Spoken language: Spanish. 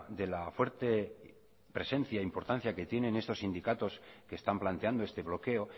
de la fuerte presencia importancia que tienen estos sindicatos que están planteando este bloqueo